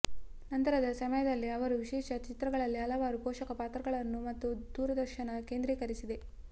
ನಂತರದ ಸಮಯದಲ್ಲಿ ಅವರು ವಿಶೇಷ ಚಿತ್ರಗಳಲ್ಲಿ ಹಲವಾರು ಪೋಷಕ ಪಾತ್ರಗಳನ್ನು ಮತ್ತು ದೂರದರ್ಶನ ಕೇಂದ್ರೀಕರಿಸಿದೆ